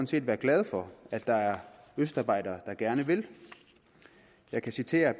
set være glade for at der er østarbejdere der gerne vil jeg kan citere